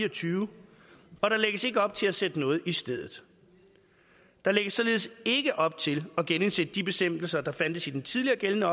og tyve og der lægges ikke op til at sætte noget i stedet der lægges således ikke op til at genindsætte de bestemmelser der fandtes i den tidligere gældende